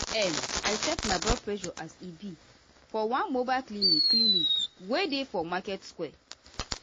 um i check my blood pressureas e be for one mobile clinic clinic wey dey for market square.